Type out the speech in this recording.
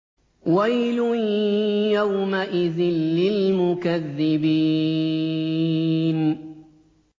وَيْلٌ يَوْمَئِذٍ لِّلْمُكَذِّبِينَ